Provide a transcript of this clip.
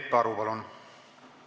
Peep Aru, palun!